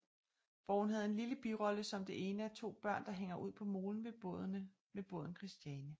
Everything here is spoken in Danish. Hvor hun havde en lille birolle som det ene af to børn der hænger ud på molen ved båden Kristiane